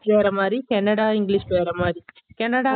வேற மாறி Canada english வேற மாறி cannada